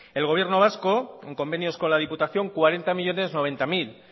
el gobierno vasco en convenios con la diputación cuarenta millónes noventa mil